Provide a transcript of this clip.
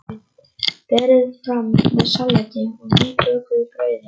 Berið fram með salati og nýbökuðu brauði.